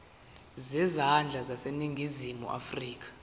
zezandla zaseningizimu afrika